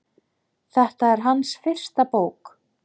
Þetta er hans fyrsta bók.